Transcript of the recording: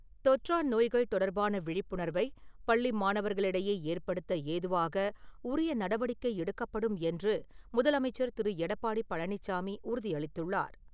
தொற்றா நோய்கள் தொடர்பான விழிப்புணர்வை பள்ளி மாணவர்களிடையே ஏற்படுத்த ஏதுவாக, உரிய நடவடிக்கை எடுக்கப்படும் என்று முதலமைச்சர் திரு எடப்பாடி பழனிச்சாமி உறுதியளித்துள்ளார்.